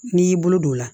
N'i y'i bolo don a la